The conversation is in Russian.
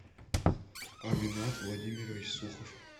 аминат владимирович сухов